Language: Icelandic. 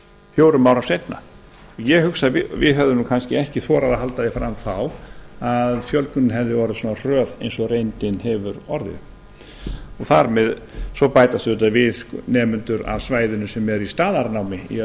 fjórum árum seinna ég hugsa að við hefðum nú kannski ekki þorað að halda því fram þá að fjölgunin hefði orðið svona hröð eins og reyndin hefur orðið svo bætast auðvitað við nemendur af svæðinu sem eru í staðarnámi í